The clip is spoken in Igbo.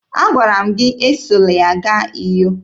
Agwara m gị esola ya gaa Uyo!